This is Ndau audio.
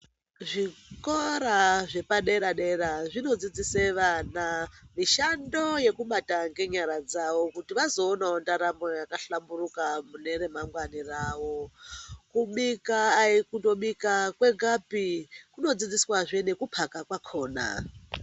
Zvikora zvepadera dera zvinodzidzise vana mishando yokubata ngenyara dzawo kuti vazoonawo ndaramo yakahlamburuka kune remangwani ravo kubika kutobika kwekapi kunodzidziswa zve ngekupaka kwakona